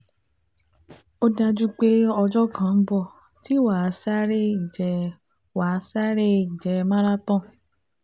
Ó dájú pé ọjọ́ kan ń bọ̀ tí wàá sáré ìje wàá sáré ìje marathon